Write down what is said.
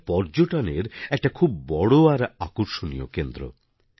এটা পর্যটনের একটা খুব বড় আর আকর্ষণীয় কেন্দ্র